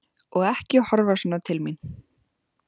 Og ekki horfa svona til mín!